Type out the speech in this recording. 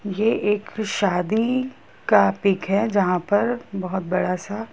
ये एक शादी का पिक है जहां पर बहुत बड़ा सा--